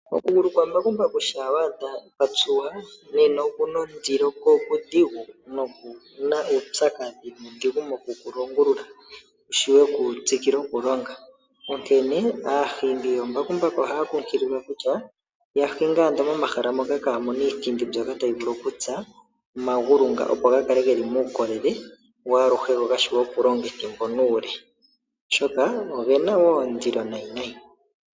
Okugulu kwambakumbaku shampa wa adha kwa tsuwa, nena oku na ondilo, ko okudhigu noku na uupyakadhi nuudhigu moku ku longulula ku shiwe ku tsikile okulonga. Onkene aahingi yoombakumbaku ohaya kumagidhwa kutya ya hinge ando momahala moka kaamu na iithindi mbyoka tayi vulu okutsa omagulu ngoka, opo ga kale ge li muukolele waaluhe go ga shiwe okulonga ethimbo nuule, oshoka oge na wo ondilo nayinayi.